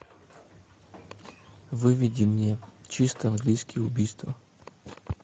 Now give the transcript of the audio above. выведи мне чисто английское убийство